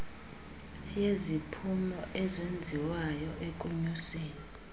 yeziphumo ezenziwayo ekunyuseni